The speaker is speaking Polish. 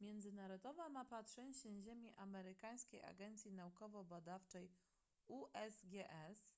międzynarodowa mapa trzęsień ziemi amerykańskiej agencji naukowo-badawczej usgs